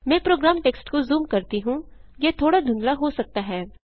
मैं program text को zoom करती हूँ यह थोड़ा धुंधला हो सकता है